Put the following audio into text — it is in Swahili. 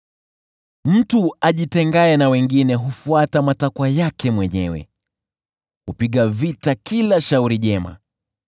Mtu ajitengaye na wengine hufuata matakwa yake mwenyewe; hupiga vita kila shauri jema.